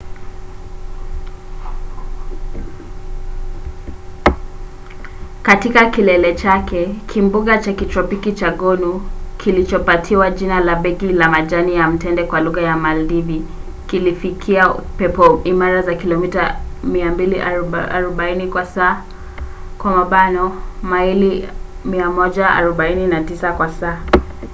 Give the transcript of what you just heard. katika kilele chake kimbunga cha kitropiki cha gonu kilichopatiwa jina la begi la majani ya mtende kwa lugha ya maldivi kililifikia pepo imara za kilomita 240 kwa saa maili 149 kwa saa